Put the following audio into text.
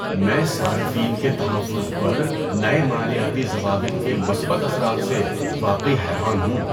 میں صارفین کے تحفظ پر نئے مالیاتی ضوابط کے مثبت اثرات سے واقعی حیران ہوں۔